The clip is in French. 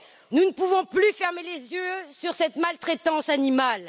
Nous ne pouvons plus fermer les yeux sur cette maltraitance animale.